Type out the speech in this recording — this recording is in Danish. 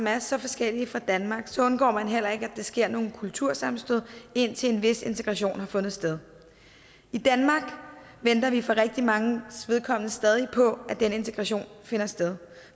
er så forskellige fra danmark undgår man heller ikke at der sker nogle kultursammenstød indtil en vis integration har fundet sted i danmark venter vi hvad angår rigtig mange stadig på at den integration finder sted